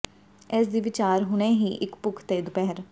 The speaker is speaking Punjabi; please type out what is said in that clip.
ਇਸ ਦੀ ਵਿਚਾਰ ਹੁਣੇ ਹੀ ਇੱਕ ਭੁੱਖ ਤੇ ਦੁਪਹਿਰ